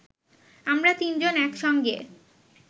আমরা তিনজন একসঙ্গে